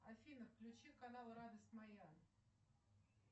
афина включи канал радость моя